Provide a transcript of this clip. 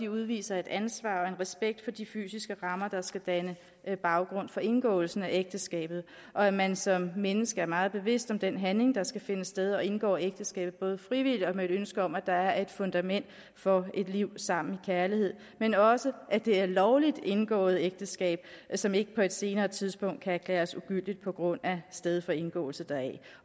udviser et ansvar og en respekt for de fysiske rammer der skal danne baggrund for indgåelsen af ægteskabet og at man som menneske er meget bevidst om den handling der skal finde sted og indgår ægteskabet både frivilligt og med et ønske om at der er et fundament for et liv sammen kærlighed men også at det er et lovligt indgået ægteskab som ikke på et senere tidspunkt kan erklæres ugyldigt på grund af sted for indgåelse deraf